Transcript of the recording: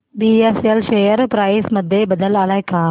BSL share price मध्ये बदल आलाय का